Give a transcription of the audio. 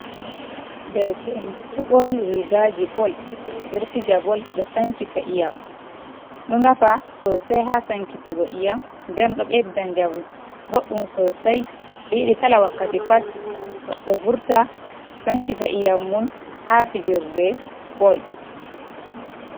Derke’en ɗo borni rigaji bol ɓe ɗo fija bol, ɗo sankita iyam, ɗo nafa sosai ha sanki tiggo iyam, den ɗo bedda jamu boɗɗum sosai, yidi kala wakkati pat goɗɗo vurta sankita iyam mun ha fijirde bol.